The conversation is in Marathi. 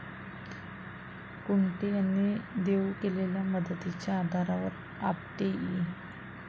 कुंटे यांनी देऊ केलेल्या मदतीच्या आधारावर आपटे इ.